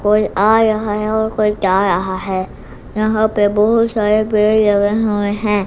कोई आ रहा है और कोई जा रहा है यहां पे बहुत सारे पेड़ लगे हुए हैं।